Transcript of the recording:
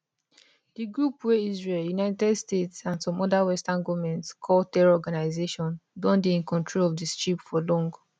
di group wey israel united states and some oda western goments call terror organisation don dey in control of di strip for long